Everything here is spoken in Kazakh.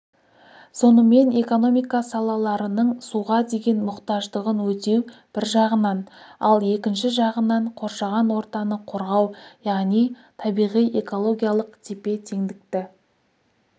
сонымен экономика салаларының суға деген мұқтаждығын өтеу бір жағынан ал екінші жағынан қоршаған ортаны қорғау яғни табиғи-экологиялық тепе-теңдікті